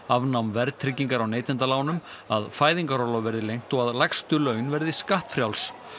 afnám verðtryggingar á neytendalánum að fæðingarorlof verði lengt og að lægstu laun verði skattfrjáls